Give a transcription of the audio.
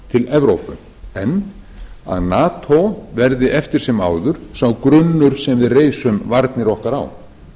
evrópu en að nato verði eftir sem áður sá grunnur sem við reisum varnir okkar á